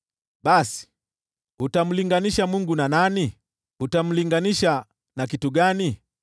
Basi, utamlinganisha Mungu na nani? Utamlinganisha na kitu gani?